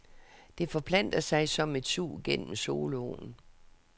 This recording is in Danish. Det forplanter sig som et sug gennem soloen.